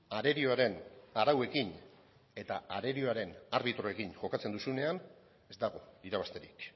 arerioaren arauekin eta arerioaren arbitroekin jokatzen duzunean ez dago irabazterik